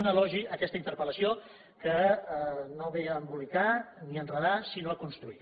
un elogi a aquesta interpel·lació que no ve a embolicar ni a enredar sinó a construir